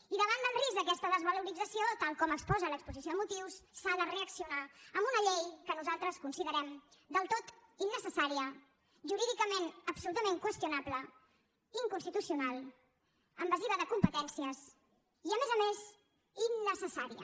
i davant del risc d’aquesta desvalorització tal com exposa l’exposició de motius s’ha de reaccionar amb una llei que nosaltres considerem del tot innecessària jurídicament absolutament qüestionable inconstitucional invasiva de competències i a més a més innecessària